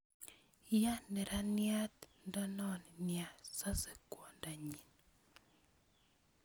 Ya neraniat ndonon nia sose kwodanyin